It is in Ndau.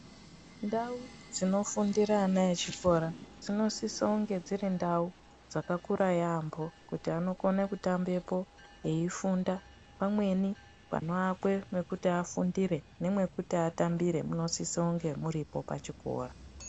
Ndau dzinofundira ana echikora dzinosisa kunge dziri ndau dzakakura yaamho kuti anokone kutambepo veifunda pamweni panoakwe mekuti afundire nemekuti atambire munosisa kunge muripo pachikora.